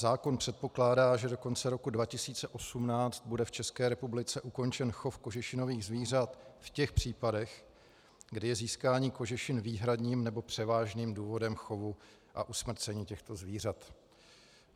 Zákon předpokládá, že do konce roku 2018 bude v České republice ukončen chov kožešinových zvířat v těch případech, kdy je získání kožešin výhradním nebo převážným důvodem chovu a usmrcení těchto zvířat.